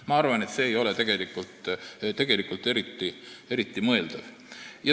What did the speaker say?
Ma arvan, et see ei ole tegelikult eriti mõeldav.